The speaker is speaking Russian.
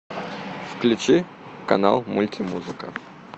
включи канал мульти музыка